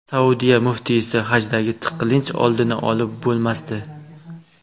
Saudiya muftiysi: hajdagi tiqilinch oldini olib bo‘lmasdi.